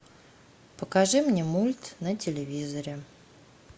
покажи мне мульт на телевизоре